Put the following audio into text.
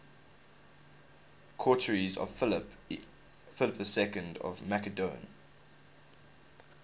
courtiers of philip ii of macedon